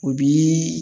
O bi